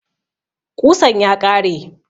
Ƙusan ya ƙare